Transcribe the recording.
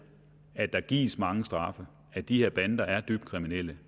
at der gives mange straffe og at de her bander er dybt kriminelle